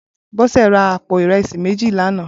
Bose rà àpó irẹsi méji lànã